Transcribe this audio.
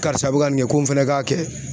Karisa be ka nin kɛ ko n fɛnɛ k'a kɛ